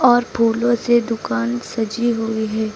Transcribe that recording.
और फूलों से दुकान सजी हुई है।